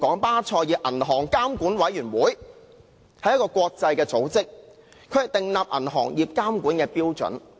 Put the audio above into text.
巴塞爾銀行監管委員會是一個國際組織，負責訂立銀行業監管標準。